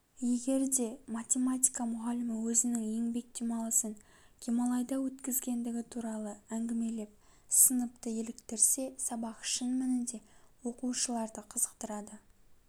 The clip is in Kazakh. егер де математика мұғалімі өзінің еңбек демалысын гималайда өткізгендігі туралы әңшімелеп сыныпты еліктірсе сабақ шын мәнінде оқушыларды қызықтырады